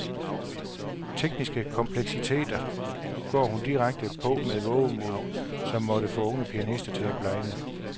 Tekniske kompleksiteter går hun direkte på med et vovemod, som måtte få unge pianister til at blegne.